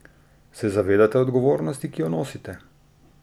Se zavedate odgovornosti, ki jo nosite?